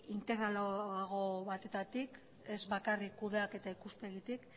integralago batetatik ez bakarrik kudeaketa ikuspegitik